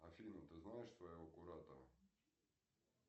афина ты знаешь своего куратора